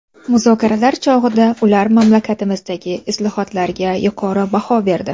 Muzokaralar chog‘ida ular mamlakatimizdagi islohotlarga yuqori baho berdi.